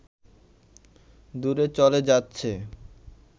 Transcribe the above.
দূরে চলে যাচ্ছে